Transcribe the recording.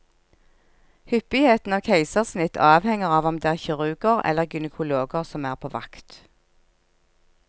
Hyppigheten av keisersnitt avhenger av om det er kirurger eller gynekologer som er på vakt.